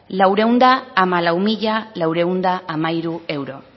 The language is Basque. laurehun eta hamalau mila laurehun eta hamairu euro